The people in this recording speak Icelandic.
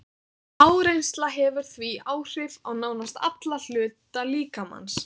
Áreynsla hefur því áhrif á nánast alla hluta líkamans.